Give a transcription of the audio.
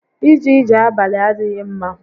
Íjé íjè abalị adịghị ḿmá